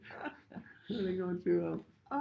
Det er der ikke nogen tvivl om